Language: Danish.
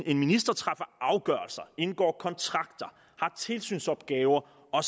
en minister træffer afgørelser indgår kontrakter har tilsynsopgaver og